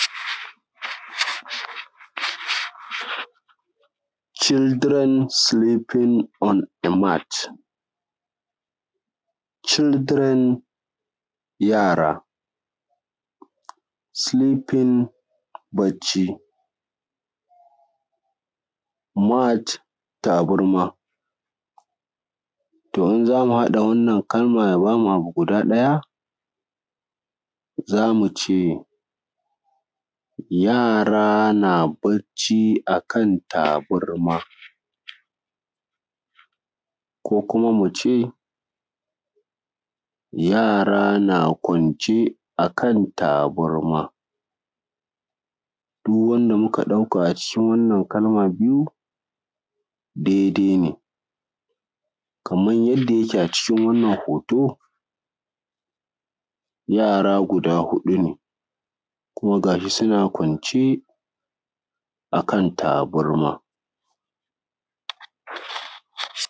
Children sleeping on a mat. Children yara, sleeping bacci mat tabarma. to idan za mu haɗa wannan kalmar ya ba mu abu guda ɗaya za mu ce, yara na barci a kan tabarma ko kuma mu ce, yara na kwance a kan tabarma. Duk wanda muka ɗauka a ciki wannan kalma biyu daidai ne. kamar yadda yake a cikin wannan hoto yara guda hudu ne kuma ga shi suna kwance a kan tabarma.